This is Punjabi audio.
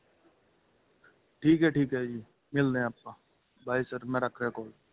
ਠੀਕ ਏ ਠੀਕ ਏ ਜੀ ਮਿਲਦੇ ਏ ਆਪਾਂ by sir ਮੈਂ ਰੱਖ ਰਿਹਾ call